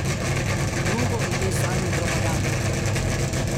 Drugo ime zanj je propaganda.